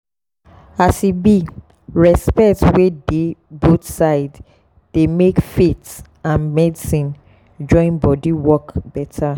as e be respect wey dey both sides dey make faith and medicine join body work better.